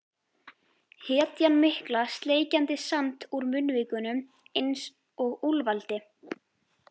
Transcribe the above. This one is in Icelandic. Hetjan mikla sleikjandi sand úr munnvikunum einsog úlfaldi.